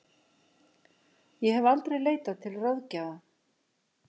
Ég hef aldrei leitað til ráðgjafa.